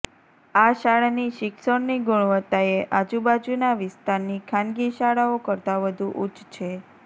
આ શાળાની શિક્ષણની ગુણવત્તાએ આજુબાજુના વિસ્તારની ખાનગી શાળાઓ કરતા વધુ ઉચ્ચ છે